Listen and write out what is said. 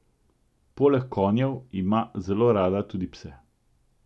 Poleg konjev ima zelo rada tudi pse.